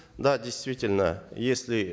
да действительно если